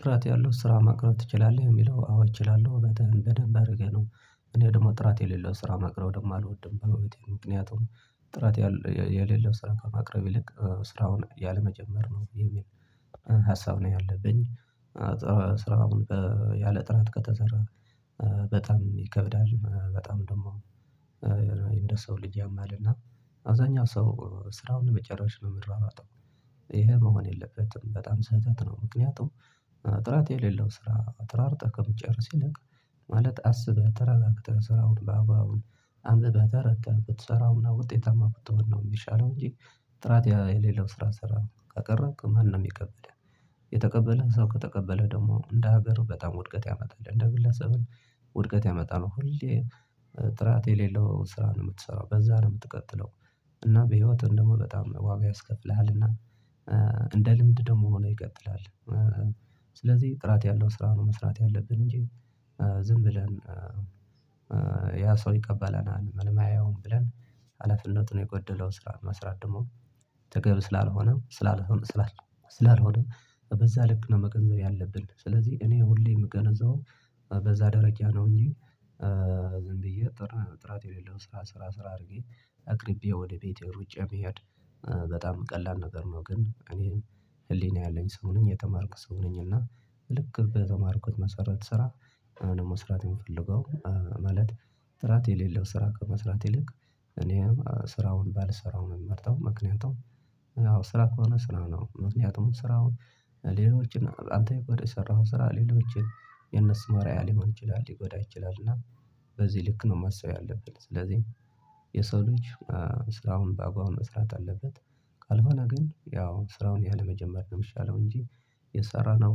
ጥራት ያለው ስራ ማቅረብ ትችላለህ? የሚለው አዎ እችላለሁ እንደውም አድርጌ ነው። እኔ ደግሞ ጥራት የሌለው ስራ ማቅረብ ደግሞ አልወድም። በእውነቱ ምክንያቱም ጥራት የሌለው ስራ ከማቅረብ ይልቅ ስራውን ያለመጀመር ነው የሚል ሀሳብ ነው ያለብኝ። ስራውን ያለጥራት ከተሰራ በጣም ይከብዳል። በጣም ደግሞ የሆነ እንደሰው ልጅ ያማል እና አብዛኛው ሰው ስራውን ለመጨረስ ነው የሚረዋወጠው። ይሄ መሆን የለበትም በጣም ስህተት ነው። ምክንያቱም ጥራት የሌለው ስራ ተሯሩጠህ ከመጨረስ ይልቅ ማለት አስበህ ተረጋግተህ ስራውን በአግባቡ አንብበህ ተረድተህ ብትሰራውና ውጤታማ ብትሆን ነው የሚሻለው። እንጂ ጥራት የሌለው ስራ ስራ ካቀረብክ ማን ነው የሚቀበልህ? የተቀበለ ሰው ከተቀበለ ደግሞ እንደ ሀገሩ በጣም ውድቀት ያመጣል እንደ ግለሰብም ውድቀት ያመጣል። ሁሌ ጥራት የሌለው ስራ ነው የምትሰራው በዛ ነው የምትቀጥለው። እና በህይወትህ ደግሞ በጣም ዋጋ ያስከፍልሃል እና እንደ ልምድ ደግሞ ሆነህ ይቀጥላል። ስለዚህ ጥራት ያለው ስራ ነው መስራት ያለብን እንጂ ዝም ብለን ያ ሰው ይቀበለናል ምን አያየውም ብለን ሀላፊነት የጎደለው ስራ መስራት ደግሞ ተገቢ ስላልሆነ በዛ ልክ ነው መቅረብ ያለብን። ስለዚህ እኔ ሁሌ የምገነዘው በዛ ደረጃያ ነው እንጂ ዝም ብዬ ጥራት የሌለው ስራ ሰራ ሰራ አድርጌ አቅርቤ ወደ ቤቴ ሩጫ መሄድ። በጣም ቀላል ነገር ነው ግን እኔም ህሊና ያለኝ ሰው ነኝ የተማርኩ ሰው ነኝ እና ልክ በተማርኩት መሰረት ስራ ነው መስራት የምፈልገው። ማለት ጥራት የሌለው ስራ ከመስራት ይልቅ እኔም ስራውን ባልሰራውም እምመርጠው ምክንያቱም አዎ ስራ ከሆነ ስራ ነው ምክንያቱም ስራውን ሌሎችን አንተ የሰራኸው ስራ ሌሎችን የነሱን አርያ ሊሆን ይችላል ሊጎዳ ይችላል። እና በዚህ ልክ ነው ማሰብ ያለብን ስለዚህ የሰው ልጅ ስራውን በአግባቡ መስራት አለበት። ካልሆነ ግን ያው ስራውን ያለመጀመር ነው የምሻለው እንጂ የሰራነው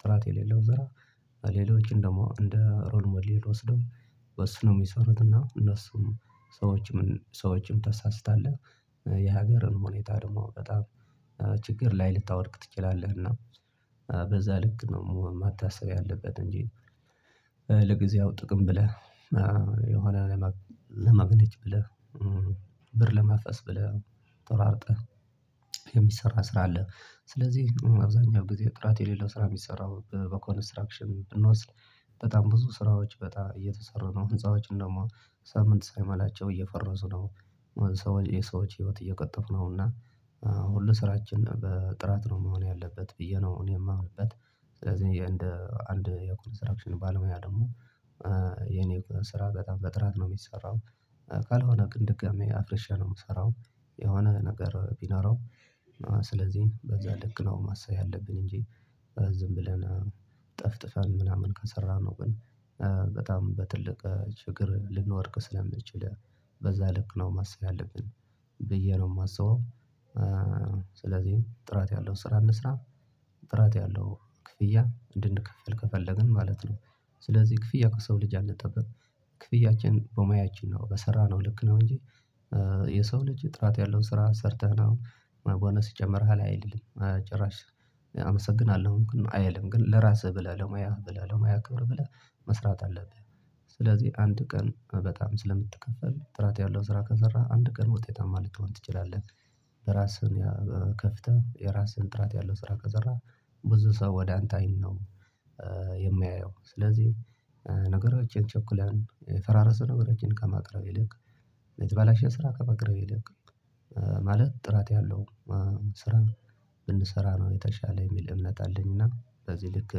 ጥራት የሌለው ስራ ሌሎች እንደው እንደ ሮል ሞዴል ወስደው ወስኖ የሚሰሩትና እነሱም ሰዎችም ታሳስታለህ የሀገርን ሁኔታ ደግሞ በጣም ችግር ላይ ልታወድቅ ትችላለህ። እና በዛ ልክ ነው የመታሰብ ያለበት እንጂ ጥቅም ብለህ የሆነ ለማግኘት ብለህ ብር ለማፈስ ብለህ ተሯሩጠህ የሚሰራ ስራ አለ ስለዚህ አብዛኛው ጥራት የሌለው ስራ የሚሰራው በኮንስትራክሽን ብንወስድ በጣም ብዙ ስራዎች በጣም እየተሰራ ነው ህንፃዎች እንደውም ሳምንት ሳይሞላቸው እየፈረሱ ነው የሰዎች ህይወት እየቀጠፉ ነው። እና ሁሉ ስራችን በጥራት ነው መሆን ያለበት ብዬ ነው እኔ የማምንበት ስለዚህ እንደ አንድ የኮንስትራክሽን ባለሙያ ደግሞ የኔ ስራ በጣም በጥራት ነው የሚሰራው። ካልሆነ ግን ደጋሜ አፍርሻ ነው የምሰራው። የሆነ ነገር ቢኖረው ስለዚህ በዛ ልክ ነው ማሰብ ያለብን እንጂ ዝም ብለናል ጠፍጥፈን ምናምን ከሰራነው ግን በጣም በትልቅ ችግር ልንወድቅ ስለምንችል በዛ ልክ ነው ማሰል ያለብን ብዬ ነው የማስበው። ስለዚህ ጥራት ያለው ስራ እንስራ ጥራት ያለው ክፍያ እንድንከፍል ከፈለግን ማለት ነው። ስለዚህ ክፍያ ከሰው ልጅ አንጠብቅ ክፍያችን በሙያችን ነው በሰራነው ልክ ነው እንጂ የሰው ልጅ ጥራት ያለውን ስራ ሰርተህ ነው ፖነስ ሲጨምርህ አይልም ጭራሽ አመሰግናለሁ አይልም ግን ለራስህ ብለህ ለሙያህ ብለህ ለሙያ ከብር ብለህ መስራት አለብህ። ስለዚህ አንድ ቀን በጣም ስለምትከፈል ጥራት ያለው ስራ ከሰራህ አንድ ቀን ውጤታማ ልትሆን ትችላለህ። ራስህን ከፍተህ የራስህን ጥራት ያለው ስራ ከሰራህ ብዙ ሰው ወደ አንተ አይን ነው የማያየው ስለዚህ ነገሮችን ቸኩለን የፈራረሰ ነገሮችን ከማቅረብ ይልቅ የተባላሽ ስራ ከማቅረብ ይልቅ ማለት ጥራት ያለው ስራ ብንሰራ ነው የተሻለ የሚል እምነት አለኝ። እና በዚህ ልክ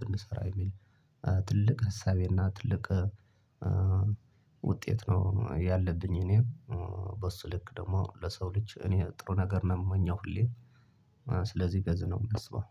ብንሰራ የሚል ትልቅ ሀሳቤና ትልቅ ውጤት ነው ያለብኝ እኔ በሱልክ ደግሞ ለሰው ልጅ እኔ ጥሩ ነገር ነው የምመኘው ሁሌ ስለዚህ እነደዚነው የማስበው